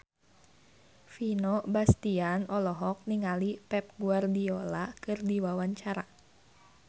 Vino Bastian olohok ningali Pep Guardiola keur diwawancara